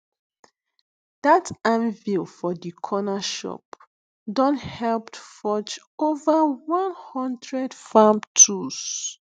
dat anvil for di corner shop don helped forge ova one hundred farm tools